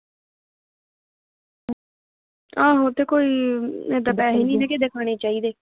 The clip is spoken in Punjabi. ਆਹੋ ਤੇ ਕੋਈ ਐਦਾਂ ਪੈਸੇ ਨਹੀਂ ਨਹੀਂ ਨਾ ਕਿਸੇ ਦੇ ਖਾਨੇ ਚਾਹੀਦੇ।